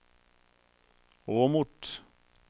Åmot